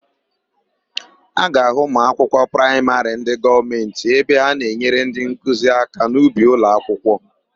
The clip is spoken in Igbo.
A ga-ahụ ụmụakwụkwọ praịmarị ndị gọọmentị ebe ha na-enyere ndịnkuzi aka n'ubi ụlọakwụkwọ.